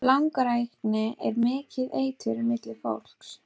Langrækni er mikið eitur milli fólks.